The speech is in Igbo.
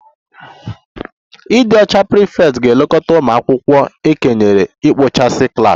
The ịdị ọcha prefect ga-elekọta ụmụ akwụkwọ e kenyere ikpochapụ klas